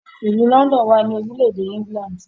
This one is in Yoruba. Ilú London wá ní orílẹ̀-èdè England.